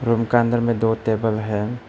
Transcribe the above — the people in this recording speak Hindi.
रूम का अंदर में दो टेबल है।